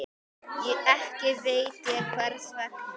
Ekki veit ég hvers vegna.